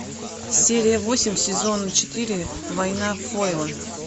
серия восемь сезон четыре война фойла